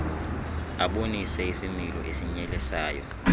abonise isimilo esinyelisayo